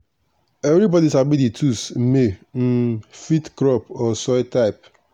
everybody sabi the tools may um fit crop or soil type.